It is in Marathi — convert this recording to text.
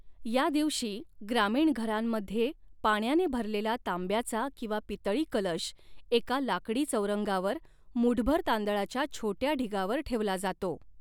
या दिवशी, ग्रामीण घरांमध्ये पाण्याने भरलेला तांब्याचा किंवा पितळी कलश एका लाकडी चौरंगावर मूठभर तांदळाच्या छोट्या ढिगावर ठेवला जातो.